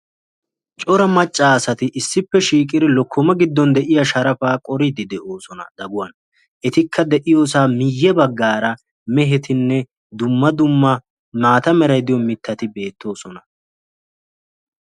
Cora macca asati issippe shiqqidi lokkoma giddon de'iya sharafaa qoriiddi de'oosona daguwan. Etikka de'iyo sohuwa miyye baggaara mehetinne dumma dumma maata meray de'iyo mittati beettoosona.